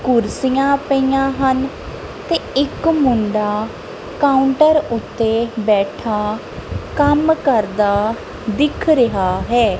ਕੁਰਸੀਆਂ ਪਈਆਂ ਹਨ ਤੇ ਇੱਕ ਮੁੰਡਾ ਕਾਉੰਟਰ ਉੱਤੇ ਬੈਠਾ ਕੰਮ ਕਰਦਾ ਦਿਖ ਰਿਹਾ ਹੈ।